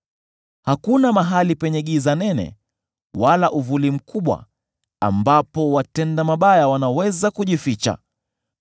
Hakuna mahali penye giza nene, wala uvuli mkubwa, ambapo watenda mabaya wanaweza kujificha.